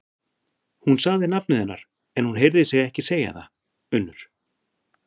Hún sagði nafnið hennar, en hún heyrði sig ekki segja það: Unnur.